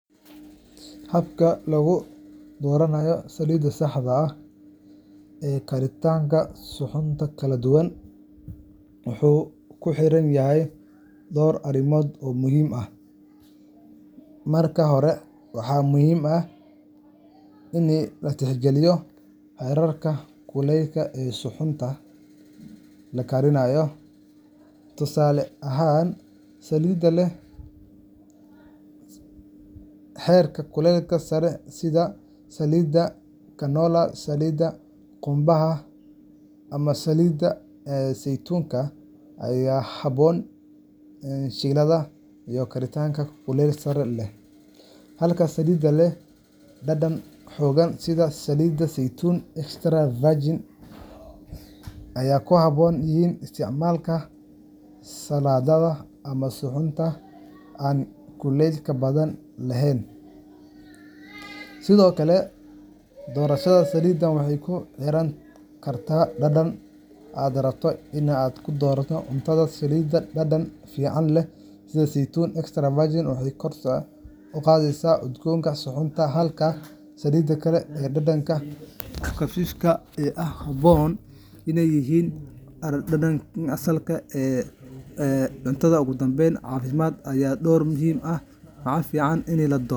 Doorashada saliidda saxda ah ee karinta waxay ku xiran tahay dhowr arrimood muhiim ah. Marka hore, waa in la tixgeliyaa heerkulka karinta ee suxuunta. Tusaale ahaan, haddii aad shiilayso cunto heerkul sare leh sida digaag ama kalluun, waxaad u baahan tahay saliid leh barta qiiqa oo sareysa sida saliidda canola, saliidda galleyda, ama saliidda saytuunka ee aan caddaanka ahayn. Haddii aad karineyso suxuun u baahan kuleyl hoose sida maraqa ama khudaar la kariyey, waxaad isticmaali kartaa saliid saytuun ah oo saafi ah ama saliidda looska. Marka labaad, waa muhiim in la tixgeliyo dhadhanka saliidda; qaar saliidaha ah sida saliidda qudaar ama saytuunka waxay leeyihiin dhadhan gaar ah oo saameyn kara dhadhanka guud ee suxuunta. Waxaa kaloo muhiim ah in saliiddu ay ahaato mid caafimaad leh oo nafaqo leh, gaar ahaan haddii si joogto ah loo isticmaalo. Marka laga fiiriyo dhinacyadan, waxaad si sax ah u dooran kartaa saliid ku habboon suxuunta aad karineyso, si aad u hesho cunto dhadhan leh.